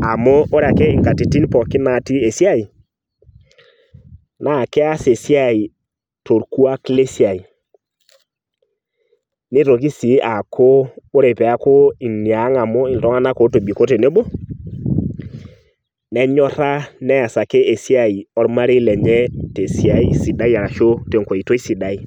amu ore ake nkatitin pookin natii esiai naa keas esiai torkwak lesiai , nitoki sii aaku ore peaku iniang amu iltunganak otobiko tenebo , nenyora neasaki ormarei lenye tesiai sidai arashu tenkoitoi sidai.